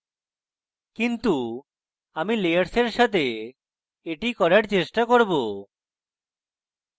কিন্তু আমি layers এর সাথে এটি করার চেষ্টা করব